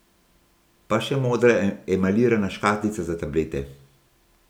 Pa še modra emajlirana škatlica za tablete.